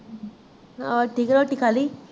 ਹੋਰ ਠੀਕ ਹੈ ਰੋਟੀ ਖਾਲੀ